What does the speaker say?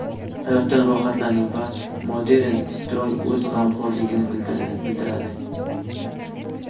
Hayotdan rohatlaning va Modern Stroy o‘z g‘amxo‘rligini bildiradi.